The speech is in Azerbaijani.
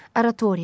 Oratoriya.